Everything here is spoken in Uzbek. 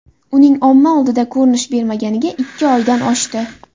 Uning omma oldiga ko‘rinish bermaganiga ikki oydan oshdi.